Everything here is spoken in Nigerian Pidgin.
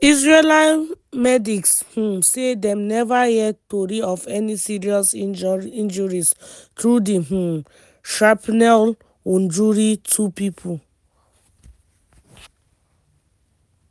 israeli medics um say dem neva hear tori of any serious injuries though di um shrapnel wunjure two pipo.